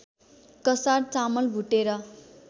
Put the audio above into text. कसार चामल भुटेर